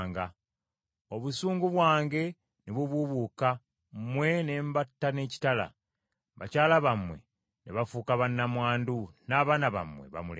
Obusungu bwange ne bubuubuuka, mmwe ne mbatta n’ekitala. Bakyala bammwe ne bafuuka bannamwandu n’abaana bammwe bamulekwa.